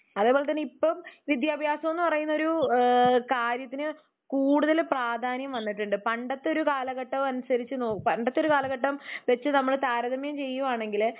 അതുപോലെ തന്നെ ഇപ്പം വിട്ട്യാഭ്യസം എന്നു പറയുന്നത് ഒരു കാര്യത്തിന് കൂടുതല് പ്രാധാന്യം വന്നിട്ടുണ്ട്. പണ്ടത്തൊരു കാലഘട്ടം അനുസരിച്ചു പണ്ടത്തെ കാലഘട്ടം വെച്ച് നമ്മള്‌ താരതമ്യം ചെയ്യുവാണെങ്കില്